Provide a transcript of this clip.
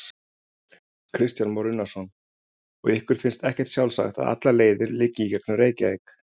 Kristján Már Unnarsson: Og ykkur finnst ekkert sjálfsagt að allar leiðir liggi í gegnum Reykjavík?